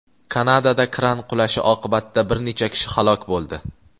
Kanadada kran qulashi oqibatida bir necha kishi halok bo‘ldi.